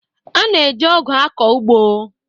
A na-eji ọkụ akọ ụgbọ.